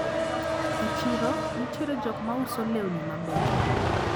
E chiro nitiere jokmauso lewni mabecho.